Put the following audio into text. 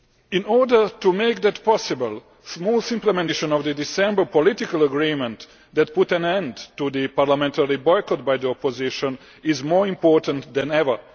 In order to make that possible, smooth implementation of the December political agreement that put an end to the parliamentary boycott by the opposition is more important than ever.